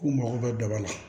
K'u mago bɛ daba la